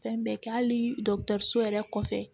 Fɛn bɛɛ kɛ hali yɛrɛ kɔfɛ